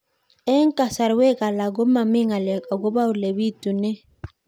Eng' kasarwek alak ko mami ng'alek akopo ole pitunee